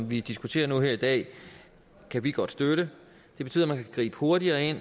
vi diskuterer nu her i dag kan vi godt støtte de betyder at man kan gribe hurtigere